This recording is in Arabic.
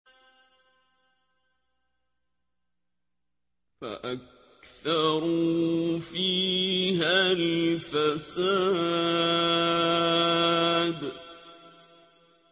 فَأَكْثَرُوا فِيهَا الْفَسَادَ